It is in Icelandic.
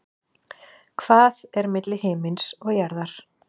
Hvað er milli himins og jarðar?